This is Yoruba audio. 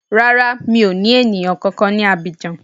Rárá, mi ò ní èèyàn kankan ní Abidjan